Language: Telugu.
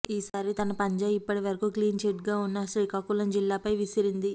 ఈసారి తన పంజా ఇప్పటివరకు క్లీన్చిట్గా ఉన్న శ్రీకాకుళం జిల్లాపై విసిరింది